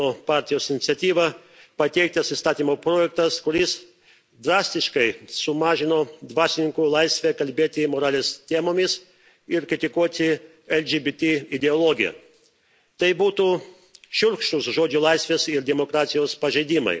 Makrono partijos iniciatyva pateiktas įstatymo projektas, kuris drastiškai sumažino dvasininkų laisvę kalbėti moralės temomis ir kritikuoti LGBT ideologiją. Tai būtų šiurkštūs žodžio laisvės ir demokratijos pažeidimai.